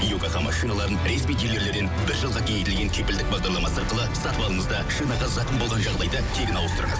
йокогама шиналарын ресми дилерлерден бір жылға кеңейтілген кепілдік бағдарламасы арқылы сатып алыңыз да шинаға зақым болған жағдайда тегін ауыстырыңыз